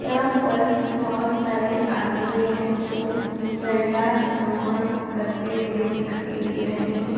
यहाँ पर बोहोत सारे आदमी है जो झंडारोहण करते हुए दिखाई दे रहे हैं।